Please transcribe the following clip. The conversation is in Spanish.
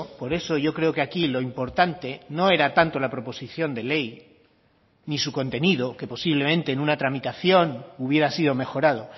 por eso yo creo que aquí lo importante no era tanto la proposición de ley ni su contenido que posiblemente en una tramitación hubiera sido mejorado